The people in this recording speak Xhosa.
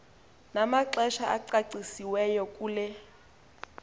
namaxesha acacisiweyo kule